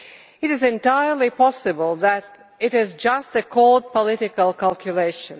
It is entirely possible that it is just a cold, political calculation.